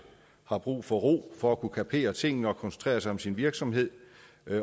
har brug for ro for at kunne kapere tingene og koncentrere sig om sin virksomhed